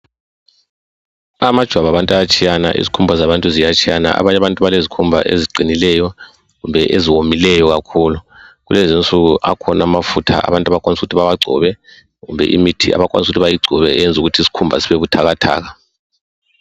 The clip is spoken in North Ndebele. amajwabu abantu ayatshiyana izikhumba zabantu ziyatshiyana abanye abantu balezikhumba eziqinileyo kumbe eziwomileyo kakhulu kulezinsuku akhona amafutha abantu abakwanisa ukuthi bawagcobe kumbe imithi abakwanisa ukuthi bayigcobe eyenza ukuthi isikhumba sibe buthakathaka